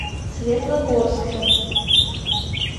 светлогорске